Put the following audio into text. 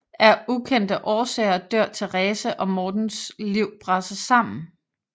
Af ukendte årsager dør Therese og Mortens liv braser sammen